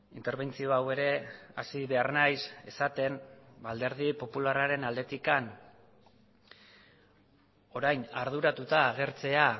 interbentzio hau ere hasi behar naiz esaten alderdi popularraren aldetik orain arduratuta agertzea